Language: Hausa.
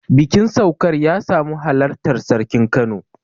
bikin saukar ya samu halartar sarkin kano